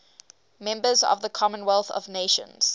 members of the commonwealth of nations